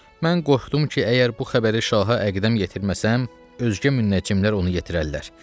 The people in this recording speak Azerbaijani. Mən qorxdum ki, əgər bu xəbəri şaha əqdəm yetirməsəm, özgə münəcimlər onu yetirərlər.